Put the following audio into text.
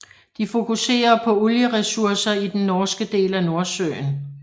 De fokuserer på olie ressourcer i den norske del af Nordsøen